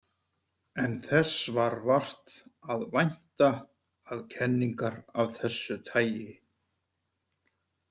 En þess var vart að vænta að kenningar af þessu tagi.